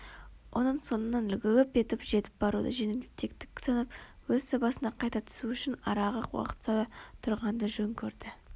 оның соңынан лып етіп жетіп баруды жеңілтектік санап өз сабасына қайта түсу үшін араға уақыт сала тұрғанды жөн көрді